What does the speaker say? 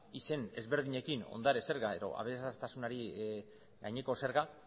izen desberdinekin ondare zergak edo aberastasunari gaineko zerga